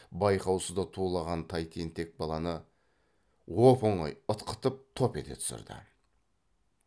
байқаусызда тулаған тай тентек баланы оп оңай ытқытып топ ете түсірді